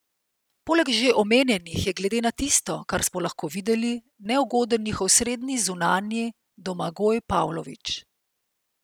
Poleg že omenjenih je glede na tisto, kar smo lahko videli, neugoden njihov srednji zunanji Domagoj Pavlović.